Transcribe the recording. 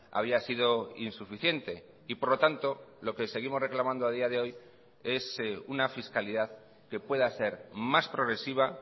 había sido insuficiente y por lo tanto lo que seguimos reclamando a día de hoy es una fiscalidad que pueda ser más progresiva